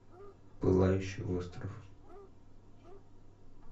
пылающий остров